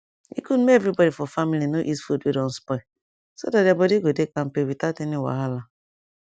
e good make everybody for family no eat food wey don spoil so that their body go dey kampe without any wahala